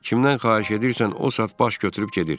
Kimdən xahiş edirsən, o saat baş götürüb gedir.